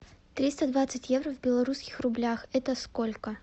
триста двадцать евро в белорусских рублях это сколько